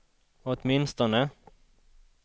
åtminstone